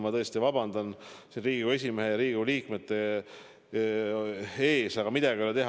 Ma tõesti vabandan Riigikogu esimehe ja Riigikogu liikmete ees, aga midagi ei ole teha.